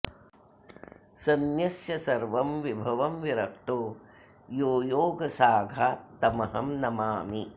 सन्यस्य सर्वं विभवं विरक्तो यो योगसाघात् तमहं नमामि